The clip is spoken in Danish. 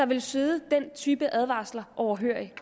ville sidde den type advarsler overhørig